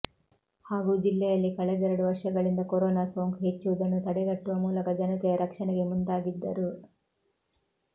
ಹಾಗೂ ಜಿಲ್ಲೆಯಲ್ಲಿ ಕಳೆದೆರಡು ವರ್ಷಗಳಿಂದ ಕೊರೋನಾ ಸೋಂಕು ಹೆಚ್ಚುವುದನ್ನು ತಡೆಗಟ್ಟುವ ಮೂಲಕ ಜನತೆಯ ರಕ್ಷಣೆಗೆ ಮುಂದಾಗಿದ್ದರು